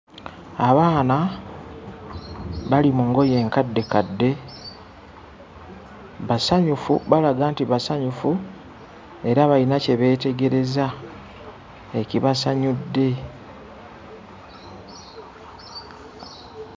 Abaana bali mu ngoye nkadde kadde basanyufu balaga nti basanyufu era bayina kye beetegereza ekibasanyudde.